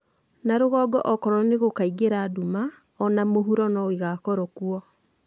Na rũgongo okorwo nĩgũkaingĩra nduma, o na mũhuro no ĩgakorawo kuo.